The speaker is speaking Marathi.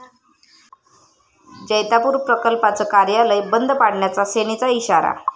जैतापूर प्रकल्पाचं कार्यालय बंद पाडण्याचा सेनेचा इशारा